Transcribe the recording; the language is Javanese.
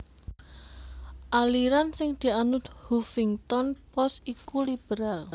aliran sing dianut Huffington Post iku liberal